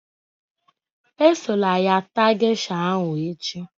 Esola ya taa gesha ahụ echi